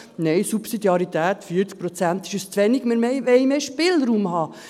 Nein, Subsidiarität, 40 Prozent ist uns zu wenig, wir wollen mehr Spielraum haben.